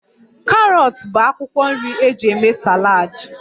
Karọt bụ akwụkwọ nri eji eme saladi